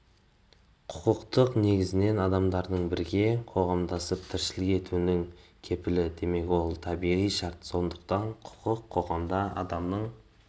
құқық негізінен адамдардың бірге қоғамдасып тіршілік етуінің кепілі демек ол табиғи шарт сондықтан құқық қоғамда адамның